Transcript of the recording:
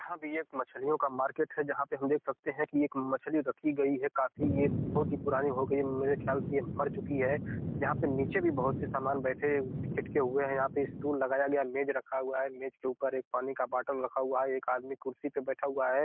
यहां भी एक मछलियों का मार्केट है जहां पे हम देख सकते हैं कि एक मछली रखी गई है काफी यह बहुत ही पुरानी हो गई है मेरे ख्याल से ये मर चुकी है यहां पे नीचे भी बहुत सामान बैठे हुए हैं यहां पर स्टूल लगाया गया है मेज रखा हुआ है मेज के ऊपर एक पानी का बोतल रखा हुआ है एक आदमी कुर्सी पे बैठा हुआ है।